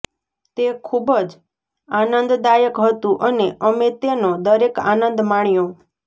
તે ખૂબ જ આનંદદાયક હતું અને અમે તેનો દરેક આનંદ માણ્યો